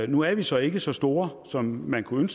nu er vi så ikke så store som man kunne